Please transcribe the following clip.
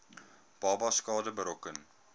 babas skade berokken